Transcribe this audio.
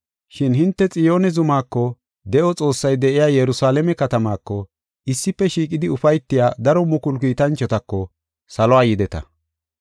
Shin hinte Xiyoone zumako, de7o Xoossay de7iya Yerusalaame katamaako, issife shiiqidi ufaytiya daro mukulu kiitanchotako saluwa yideta.